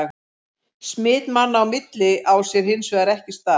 Smit manna á milli á sér hins vegar ekki stað.